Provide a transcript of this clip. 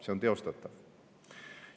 See on teostatav.